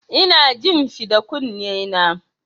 Ina jin shi da kunnena.